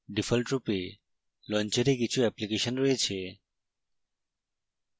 ডিফল্টরূপে launcher কিছু application রয়েছে